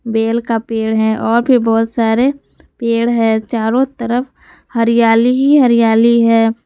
Bell का पेड़ है और भी बहुत सारे पेड़ है चारों तरफ हरियाली ही हरियाली है।